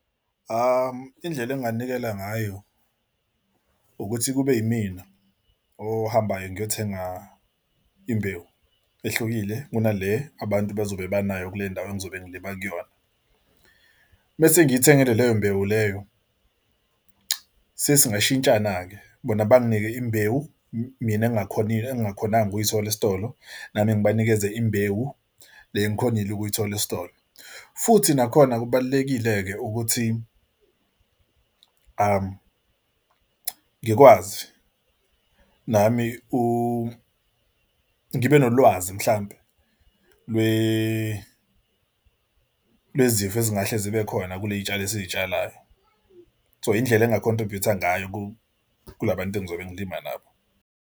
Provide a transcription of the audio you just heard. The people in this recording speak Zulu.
Indlela nginganikela ngayo ukuthi kube yimina ohambayo ngiyothenga imbewu ehlukile kunale abantu bazobe abanayo kule ndawo engizobe ngilima kuyona mese ngiyithengele leyo imbewu leyo sesingasho shintshana-ke bona banginike imbewu mina engingakhoni engingakhonanga ukuyithola esitolo, nami ngibanikeze imbewu le engikhonile ukuyithola esitolo futhi nakhona kubalulekile-ke ukuthi ngikwazi nami ngibe nolwazi mhlampe lwezifo ezingahle zibe khona kule yitshalo esizitshalayo. So indlela enginga-contribute-a ngayo kulabantu engizobe ngilima nabo.